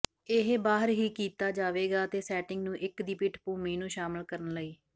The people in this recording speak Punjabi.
ਇਹ ਬਾਹਰ ਹੀ ਕੀਤਾ ਜਾਵੇਗਾ ਅਤੇ ਸੈਟਿੰਗ ਨੂੰ ਇੱਕ ਦੀ ਪਿੱਠਭੂਮੀ ਨੂੰ ਸ਼ਾਮਿਲ ਕਰਨ ਲਈ